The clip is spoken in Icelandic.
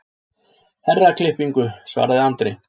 Herraklippingu, svaraði Andri.